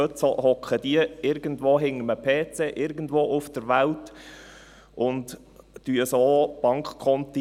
Heute sitzen die irgendwo hinter einem PC irgendwo auf der Welt und leeren so Bankkonten.